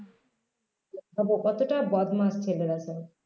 ভাবো কতটা বদমাশ ছেলে দেখো